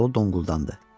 Balı donquldandı.